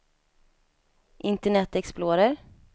internet explorer